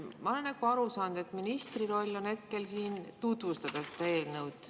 Ma olen aru saanud, et ministri roll on hetkel siin tutvustada eelnõu.